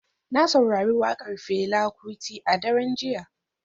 Na saurari wakar Fela Kuti a daren jiya.